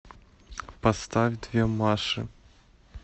поставь две маши